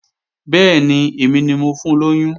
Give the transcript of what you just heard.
Bẹ́ẹ̀ni, èmi ni mo fun lóyún